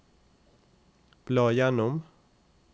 bla gjennom